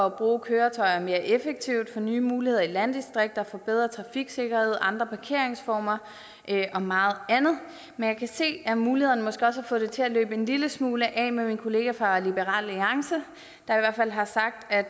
at bruge køretøjer mere effektivt få nye muligheder i landdistrikterne få bedre trafiksikkerhed andre parkeringsformer og meget andet men jeg kan se at mulighederne måske også har få det til at løbe en lille smule af med min kollega fra liberal alliance der i hvert fald har sagt at